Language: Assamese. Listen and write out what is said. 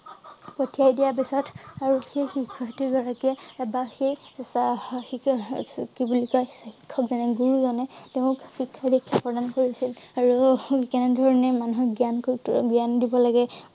পঠিয়াই দিয়া পিছত আৰু সেই শিক্ষাৰ্থী গৰাকীয়ে এটা শেষ আদা আহ উম এৰ হম কি বুলি কয় শিক্ষক জনে গুৰু জনে তেওঁক শিক্ষা দীক্ষা প্ৰদান কৰে~কৰিছিল আৰু কেনে ধৰণে মানুহ জ্ঞান কৰি টো জ্ঞান দিব লাগে